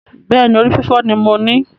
Bẹ́ẹ̀ni, orí fífọ́ ni mo ní